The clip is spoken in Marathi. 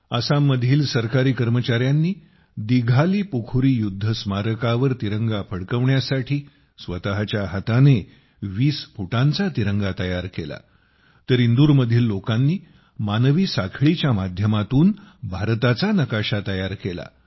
आसाममधील सरकारी कर्मचाऱ्यांनी दिघालीपुखुरी युद्ध स्मारकावर तिरंगा फडकवण्यासाठी स्वतच्या हाताने 20 फुटांचा तिरंगा तयार केला तर इंदूरमधील लोकांनी मानवी साखळीच्या माध्यमातून भारताचा नकाशा तयार केला